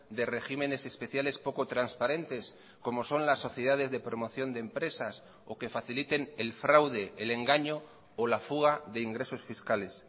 de regímenes especiales poco transparentes como son las sociedades de promoción de empresas o que faciliten el fraude el engaño o la fuga de ingresos fiscales